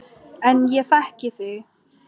En ég þekki þig.